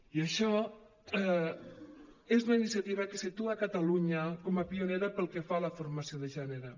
i això és una iniciativa que situa catalunya com a pionera pel que fa a la formació de gènere